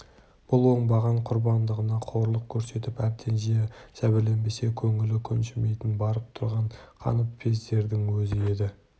бұл оңбаған құрбандығына қорлық көрсетіп әбден жәбірлемесе көңілі көншімейтін барып тұрған қаныпезердің өзі еді